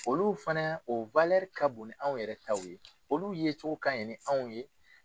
Olu fɛnɛ o walɛri ka bon ni anw yɛrɛ taw ye olu ye cogo kaɲi ni anw ye